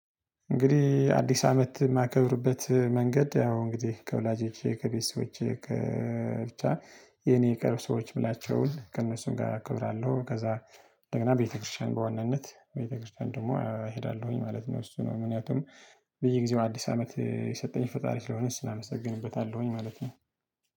እንግዲህ አዲስ አመት የማከብርበት መንገድ ያው እንግዲህ ከወላጆቼ ከቤተሰቦቼ ብቻ የኔ የቀረቡ ሰዎች የምላቸውን ከእነሱም ጋር እከብራለሁ። ከዛ እንደገና ቤተክርስቲያን በዋናነት ቤተክርስቲያን ደግሞ እሄዳለሁኝ ማለት ነው። እሱ ነው ምክንያቱም በየጊዜው አዲስ አመት የሰጠኝ ፈጣሪ ስለሆነ ክሱን አመሰግንበታለሁኝ ማለት ነው